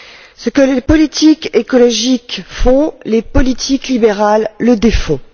Ce que les politiques écologiques font, les politiques libérales le défont.